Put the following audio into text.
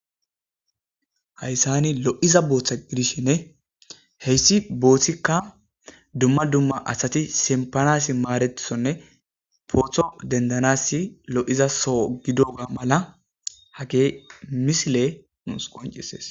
hayssani lo7iza booththa gidishinne heyssi booththikka dumma dumma asati simpanasi maarethonne pootho dendanasi lo7iza soo gidoga mala hage misile nuus qoncises